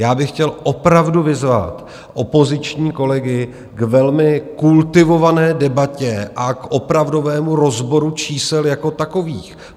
Já bych chtěl opravdu vyzvat opoziční kolegy k velmi kultivované debatě a k opravdovému rozboru čísel jako takových.